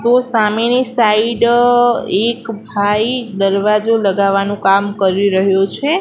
તો સામેની સાઇડ એક ભાઈ દરવાજો લગાવાનું કામ કરી રહ્યો છે.